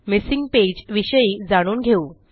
missing page विषयी जाणून घेऊ